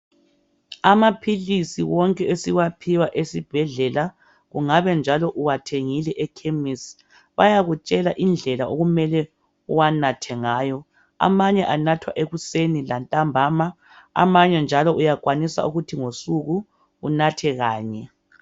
Amaphilisi wonke esiwaphiwa esibhedlela kungabe njalo uwathengile ekhemisi bayakutshela indlela okumele uwanathe ngayo amanye anathwa ekuseni amanye ntambama amanye njalo uyakwanisa ukuthi ngosuku unathe kanye.